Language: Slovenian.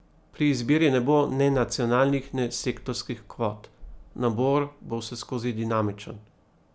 Pri izbiri ne bo ne nacionalnih ne sektorskih kvot, nabor bo vseskozi dinamičen.